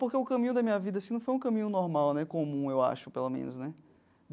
Porque o caminho da minha vida assim não foi um caminho normal né, comum, eu acho, pelo menos né.